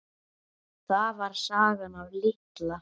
Það var sagan af Litla